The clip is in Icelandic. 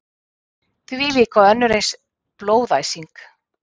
Þvílík og önnur eins blóðæsing.